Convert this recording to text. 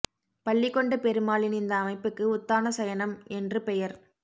பள்ளிகொண்ட பெருமாளின் இந்த அமைப்புக்கு உத்தான சயனம் என்று பெயர்